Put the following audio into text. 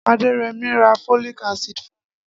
Adeyemi ra folic acid fún mi